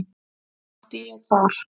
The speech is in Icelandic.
Átti ég þar